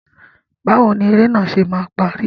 Báwo ni eré náà ṣe máa parí?